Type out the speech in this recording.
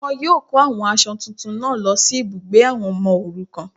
Wọn yíò kó àwọn aṣọ tuntun náà lọ sí ibùgbé àwọn ọmọ òrukàn